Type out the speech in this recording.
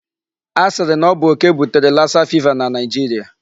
A sịrị na ọ bụ okè butere lassa fever na Nigeria.